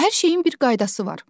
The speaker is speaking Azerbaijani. Hər şeyin bir qaydası var.